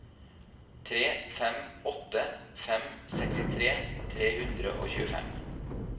tre fem åtte fem sekstitre tre hundre og tjuefem